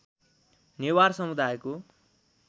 नेवार समुदायको